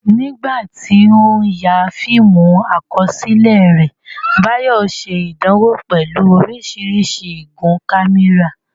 Nígbà tí ó ń ya fíìmù àkọsílẹ̀ rẹ̀, Bayo ṣe ìdánwò pẹ̀lú oríṣiríṣi igun kámẹ́rà.